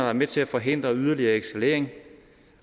er med til at forhindre yderligere eskalering